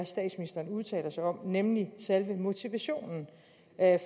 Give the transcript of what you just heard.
statsministeren udtaler sig om nemlig selve motivationen